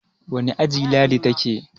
wane aji Ladi ta ke?